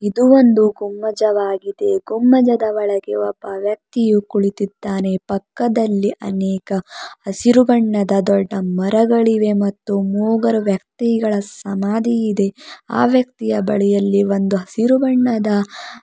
ಇದು ಒಂದು ಗುಮ್ಮಜವಾಗಿದೆ ಗುಮ್ಮಜದ ಒಳಗೆ ಒಬ್ಬ ವ್ಯಕ್ತಿಯು ಕುಳಿತಿದ್ದಾನೆ ಪಕ್ಕದಲಿ ಅನೇಕ ಹಸಿರು ಬಣ್ಣದ ದೊಡ್ಡ ಮರಗಳಿವೆ ಮತ್ತು ಮೂಗರು ವ್ಯಕ್ತಿಗಳ ಸಮಾಧಿ ಇದೆ ಆ ವ್ಯಕ್ತಿಯ ಬಳಿಯಲ್ಲಿ ಒಂದು ಹಸಿರು ಬಣ್ಣದ--